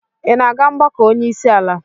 Ị na-aga mgbakọ onye isi ala?